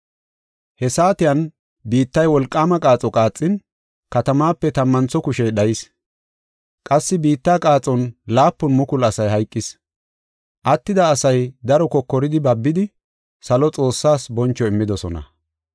He saatiyan biittay wolqaama qaaxo qaaxin, katamaape tammantho kushey dhayis. Qassi biitta qaaxon laapun mukulu asay hayqis. Attida asay daro kokoridi babidi; salo Xoossaas boncho immidosona.